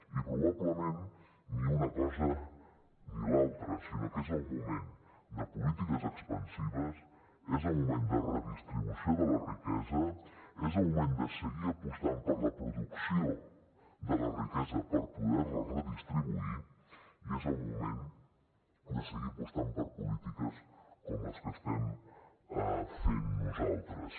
i probablement ni una cosa ni l’altra sinó que és el moment de polítiques expansives és el moment de redistribució de la riquesa és el moment de seguir apostant per la producció de la riquesa per poder la redistribuir i és el moment de seguir apostant per polítiques com les que estem fent nosaltres